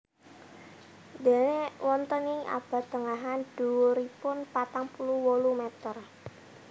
Déné wonten ing abad tengahan dhuwuripun patang puluh wolu meter